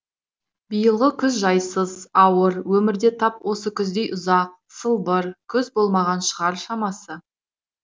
биылғы күз жайсыз ауыр өмірде тап осы күздей ұзақ сылбыр кұз болмаған шығар шамасы